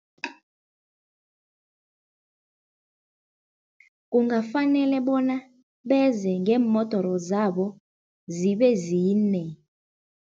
Kungafanele bona beze ngeemodere zabo, zibe zine.